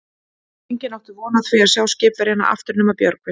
Enginn átti von á því að sjá skipverjana aftur nema Björgvin.